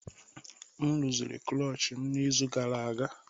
M rụziri klochi m n'izu gara aga